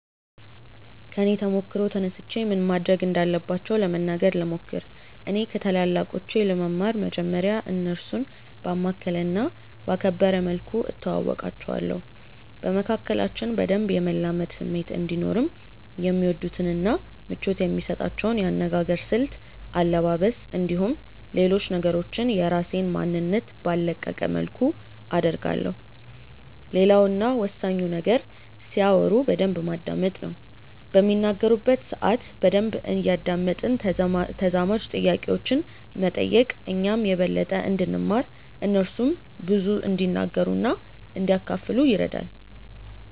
ከኔ ተሞክሮ ተነስቼ ምን ማድረግ እንዳለባቸው ለመናገር ልሞክር። እኔ ከታላላቆቼ ለመማር መጀመርያ እነርሱን ባማከለ እና ባከበረ መልኩ እተዋወቃቸዋለሁ። በመካከላችን በደንብ የመላመድ ስሜት እንዲኖርም የሚወዱትን እና ምቾት የሚሰጣቸውን የአነጋገር ስልት፣ አለባበስ፣ እንዲሁም ሌሎች ነገሮችን የራሴን ማንነት ባልለቀቀ መልኩ አደርጋለሁ። ሌላው እና ወሳኙ ነገር ሲያወሩ በደንብ ማዳመጥ ነው። በሚናገሩበት ሰአት በደንብ እያደመጥን ተዛማጅ ጥያቄዎችን መጠየቅ እኛም የበለጠ እንድንማር እነርሱም ብዙ እንዲናገሩ እና እንዲያካፍሉን ይረዳል።